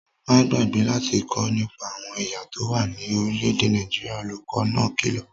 Má gbàgbé láti kọ́ nípa àwọn ẹ̀yà tó wà ní orílẹ̀-èdè Nàìjíríà, olùkó náà kìlọ̀